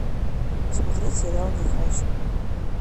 смотреть сериал нюхач